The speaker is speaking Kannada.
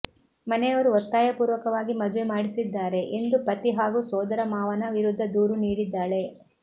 ಮನೆಯವರು ಒತ್ತಾಯಪೂರ್ವಕವಾಗಿ ಮದುವೆ ಮಾಡಿಸಿದ್ದಾರೆ ಎಂದು ಪತಿ ಹಾಗೂ ಸೋದರಮಾವನ ವಿರುದ್ಧ ದೂರು ನೀಡಿದ್ದಾಳೆ